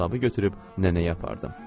Hesabı götürüb nənəyə apardım.